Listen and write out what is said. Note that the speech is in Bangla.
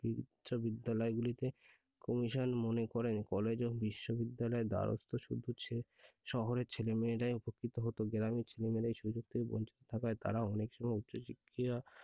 বিশ্ববিদ্যালয়গুলিতে commission মনে করে college ও বিশ্ববিদ্যালয়ের দ্বারস্থ শহরের ছেলেমেয়েরাই উপকৃত হতো গ্রামের ছেলেমেয়েরা এই সুযোগ থেকে বঞ্চিত থাকায় তারা অনেক সময় উচ্চশিক্ষার,